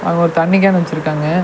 அங்க ஒரு தண்ணி கேன் வெச்சிருக்காங்க.